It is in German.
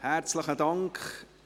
– Herzlichen Dank.